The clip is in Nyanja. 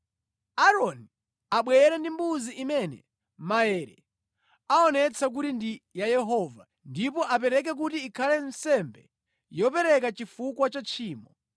Aaroni abwere ndi mbuzi imene maere aonetsa kuti ndi ya Yehova, ndipo apereke kuti ikhale nsembe yopereka chifukwa cha tchimo.